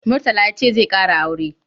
Murtala ya ce zai ƙara aure.